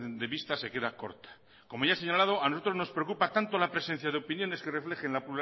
de vista se queda corta como ya he señalado a nosotros nos preocupa tanto la presencia de opiniones que reflejen la